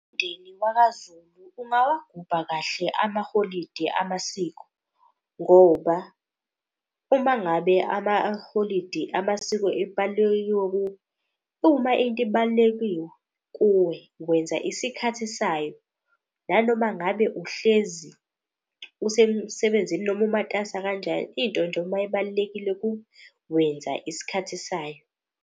Umndeni wakaZulu ungawagubha kahle amaholidi amasiko ngoba uma ngabe amaholidi amasiko . Uma into ibalulekile kuwe, wenza isikhathi sayo nanoma ngabe uhlezi usemsebenzini noma umatasa kanjani. Into nje uma ibalulekile wenza isikhathi sayo.